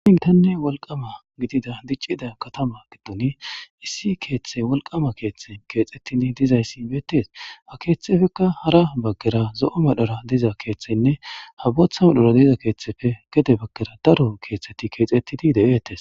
Githanne wolqqama gidiza diccida kathama giddoni issi keeththay wolqqaama keththay keexeththidi dizayssi beeththees; ha keeththeepekka hara baggera zo7o medhara diza keeththaynne ha booththa medhora diza keeththeepe gede baggeera daro keeththaythi keexeththidi de7eeththes.